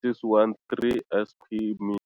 613 sq mi.